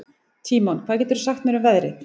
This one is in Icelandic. Tímon, hvað geturðu sagt mér um veðrið?